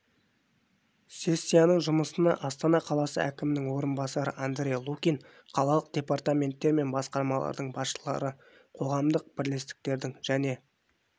сессияның жұмысына астана қаласы әкімінің орынбасары андрей лукин қалалық департаменттер мен басқармалардың басшылары қоғамдық бірлестіктердің және